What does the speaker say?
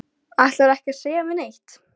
Ætlarðu ekki að segja mér neitt?